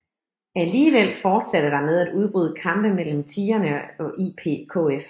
Alligevel fortsatte der med at udbryde kampe mellem Tigrene og IPKF